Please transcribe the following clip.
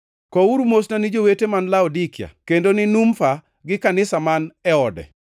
Kowuru mosna ni jowete man Laodikia, kendo ni Numfa gi kanisa man e ode.